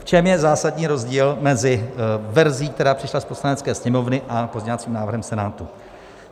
V čem je zásadní rozdíl mezi verzí, která přišla z Poslanecké sněmovny, a pozměňovacím návrhem Senátu?